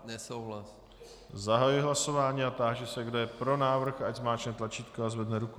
Zahajuji hlasování a táži se, kdo je pro návrh, ať zmáčkne tlačítko a zvedne ruku.